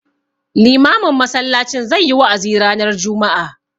Limamin masallacin zai yi wa'azi ranar juma'a.